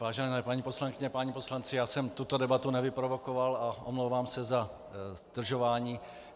Vážené paní poslankyně, páni poslanci, já jsem tuto debatu nevyprovokoval a omlouvám se za zdržování.